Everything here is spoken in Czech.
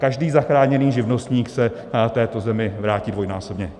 Každý zachráněný živnostník se této zemi vrátí dvojnásobně.